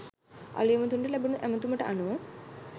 අලූයම තුනට ලැබුණු ඇමතුමට අනුව